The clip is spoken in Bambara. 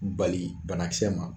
Bali banakisɛ ma